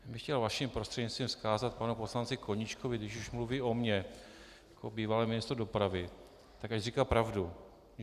Já bych chtěl vaším prostřednictvím vzkázat panu poslanci Koníčkovi, když už mluví o mně jako bývalém ministru dopravy, tak ať říká pravdu.